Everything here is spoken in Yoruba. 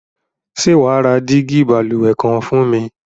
Sé wàá ra dígí balùwè kan fún mi?